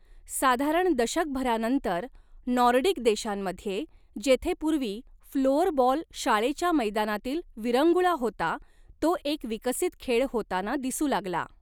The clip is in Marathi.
साधारण दशकभरानंतर, नॉर्डिक देशांमध्ये, जेथे पूर्वी फ्लोअरबॉल शाळेच्या मैदानातील विरंगुळा होता, तो एक विकसित खेळ होताना दिसू लागला.